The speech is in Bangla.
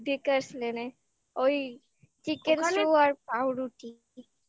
dacres ওই chicken stew আর পাউরুটি